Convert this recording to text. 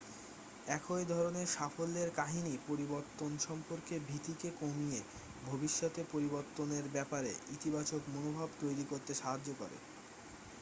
এইধরনের সাফল্যের কাহিনী পরিবর্তন সম্পর্কে ভীতিকে কমিয়ে ভবিষ্যতে পরিবর্তনের ব্যাপারে ইতিবাচক মনোভাব তৈরি করতে সাহায্য করে